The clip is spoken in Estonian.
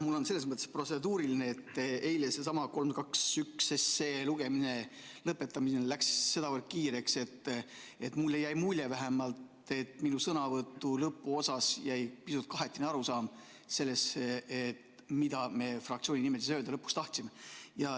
Mul on selles mõttes protseduuriline küsimus, et eile selle sama 321 lugemise lõpetamine läks sedavõrd kiireks, et mulle jäi mulje, et minu sõnavõtu lõpuosas jäi pisut kahetine arusaam sellest, mida me fraktsiooni nimel lõpuks öelda tahtsime.